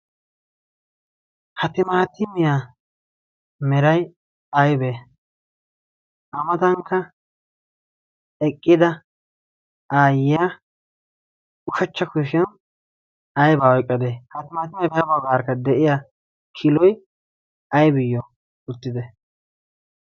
haa timaatiimiyaa meray aybee a matankka eqqida aayyiya ushachcha kushishiyan aybaa oyqqadee haa timaatimiyaa bihaabagaarakka de7iya kiloy aybiyyo uttite